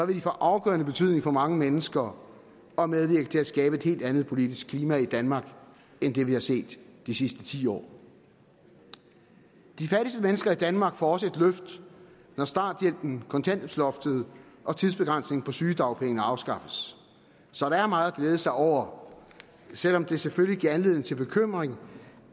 de få afgørende betydning for mange mennesker og medvirke til at skabe et helt andet politisk klima i danmark end det vi har set de sidste ti år de fattigste mennesker i danmark får også et løft når starthjælpen kontanthjælpsloftet og tidsbegrænsningen på sygedagpenge afskaffes så der er meget at glæde sig over selv om det selvfølgelig giver anledning til bekymring